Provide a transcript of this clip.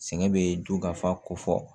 Sɛgɛn bɛ dukafa ko fɔ